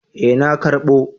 Eh na karbo